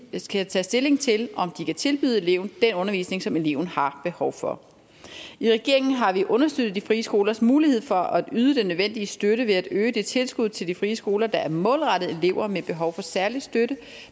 skal tage stilling til om de kan tilbyde eleven den undervisning som eleven har behov for i regeringen har vi understøttet de frie skolers mulighed for at yde den nødvendige støtte ved at øge det tilskud til de frie skoler der er målrettet elever med behov for særlig støtte